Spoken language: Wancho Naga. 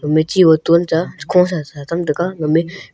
me chi botton cha khosa sa chem taiga gamey--